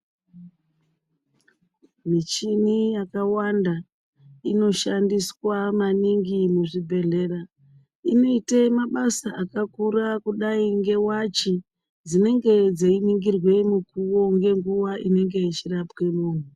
Michini yakawanda, inoshandiswa maningi muzvibhedhlera inoite mabasa akakura kudai ngewachi dzinenge dzeiningirwe mukuwo ngenguwa inenge yechirapwe muntu.